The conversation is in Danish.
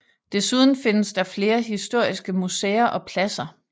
Desuden findes der flere historiske museer og pladser